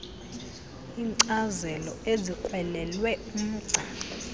iinkcazelo ezikrwelelwe umgca